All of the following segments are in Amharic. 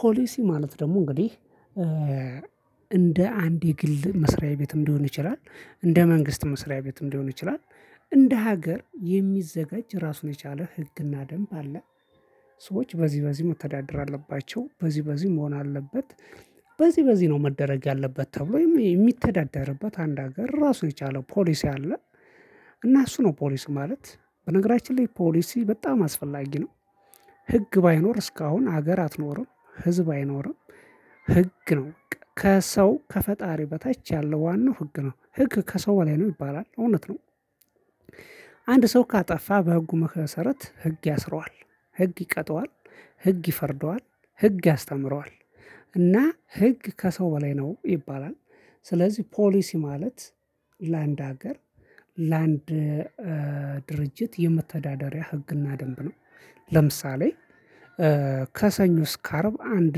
ፖሊሲ ማለት ደግሞ እንግዲህ እንደ አንድ የግል መስሪያ ቤትም ሊሆን ይችላል እንደ መንግስት መስሪያ ቤትም ሊሆን ይችላል። እንደ ሀገር የሚዘጋጅ ራሱን የቻለ ህግና ደንብ አለ። ሰዎች በዚህ በዚህ መተዳደር አለባቸው በዚህ በዚህ መሆን አለበት። በዚህ በዚህ ነው መደረግ ያለበት ተብሎ የሚተዳደርበት አንድ ሀገር ራሱን የቻለ ፖሊስ አለ። እና እሱ ነው ፖሊስ ማለት በነገራችን ላይ ፖሊሲ በጣም አስፈላጊ ነው። ህግ ባይኖር እስካሁን ሀገር አትኖርም ህዝብ አይኖርም። ህግ ነው ከሰው ከፈጣሪ በታች ያለው ዋናው ህግ ነው ህግ ከሰው በላይ ነው ይባላል እውነት ነው። አንድ ሰው ካጠፋ በህጉ መሰረት ህግ ያስረዋል ህግ ይቀጠዋል ህግ ይፈርደዋል ህግ ያስተምረዋል እና ህግ ከሰው በላይ ነው ይባላል። ስለዚህ ፖሊሲ ማለት ላንድ ሀገር ላንድ ድርጅት የመተዳደሪያ ህግና ደንብ ነው። ለምሳሌ ከሰኞ እስከ አርብ አንድ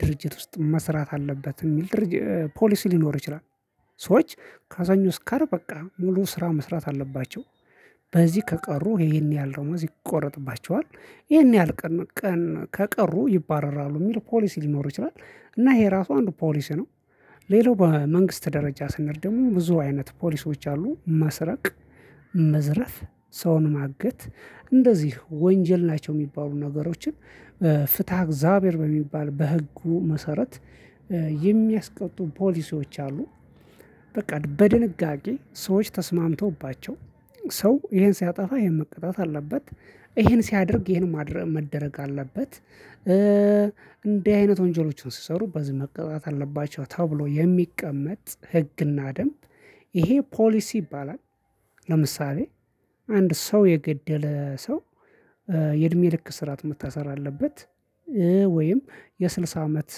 ድርጅት ውስጥ መስራት አለበት የሚል ድርጅት ፖሊሲ ሊኖር ይችላል። ሰዎች ከሰኞ እስከ አርብ በቃ ሙሉ ስራ መስራት አለባቸው በዚህ ከቀሩ ይሄን ያህል ደሞዝ ይቆረጥባቸዋል ይሄን ያህል ቀን ከቀሩ ይባረራሉ የሚል ፖሊሲ ሊኖር ይችላል እና ይሄ ራሱ አንዱ ፖሊሲ ነው። ሌላው በመንግስት ደረጃ ስንሄድ ደግሞ ብዙ አይነት ፖሊሲዎች አሉ መስረቅ መዝረፍ ሰውን ማገት እንደዚህ ወንጀል ናቸው የሚባሉ ነገሮችን ፍትሃ እግዚአብሔር በሚባል በህጉ መሰረት የሚያስቀጡ ፖሊሲዎች አሉ። በቃ በድንጋጌ ሰዎች ተስማምተውባቸዋ ሰው ይሄን ሲያጠፋ ይሄን ሲያጠፋ ይሄን መቀጣጥ አለበት። ይሄን ሲያደርግ ይሄን ማድረ መደረግ አለበት። እንዲህ አይነት ወንጀሎችን ሲሰሩ በዚህ መቀጣት አለባቸው ተብሎ የሚቀመጥ ህግና ደንብ ይሄ ፖሊስ ይባላል። ለምሳሌ አንድ ሰው የገደለ ሰው የእድሜ ልክ ስራት መታሰር አለበት ወይም የስልሳ አመት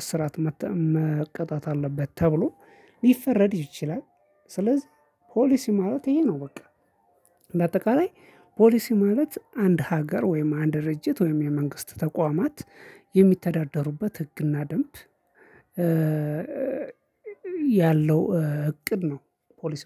እስራት መቀጣት አለበት ተብሎ ሊፈረድ ይችላል። ስለዚህ ፖሊሲ ማለት ይሄ ነው በቃ። በአጠቃላይ ፖሊሲ ማለት አንድ ሀገር ወይም አንድ ድርጅት ወይም የመንግስት ተቋማት የሚተዳደሩበት ህግና ደንብ ያለው እቅድ ነው። ፖሊስ ማለ